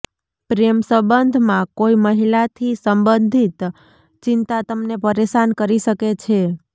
પ્રેમ સંબંધમાં કોઈ મહિલાથી સંબંધિત ચિંતા તમને પરેશાન કરી શકે છે